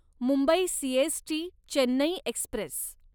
Mumbai CST Chennai Express